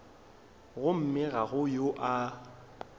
gomme ga go yo a